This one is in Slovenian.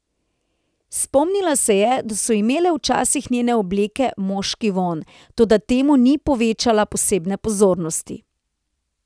Spomnila se je, da so imele včasih njene obleke moški vonj, toda temu ni povečala posebne pozornosti.